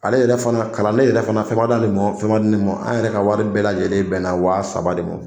Ale yɛrɛ fana kalanden yɛrɛ fana fɛn ma d'ale ma ,fɛn ma di ne ma. An yɛrɛ ka wari bɛɛ lajɛlen bɛnna wa saba de ma.